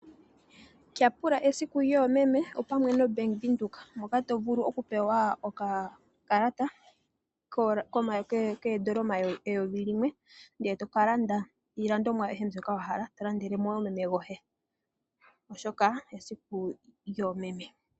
Tyapula esiku lyoomeme opamwe na Bank Windhoek. Moka to vulu oku pewa okakalata koodola eyovi limwe ndele toka landa iilandomwa ayihe mbyoka wahala. Eto landele mo woo meme goye oshoka esiku lyoomeme.